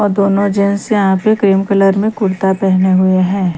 और दोनों जेन्ट्स यहाँ पे क्रीम कलर मे कुर्ता पहने हुए है।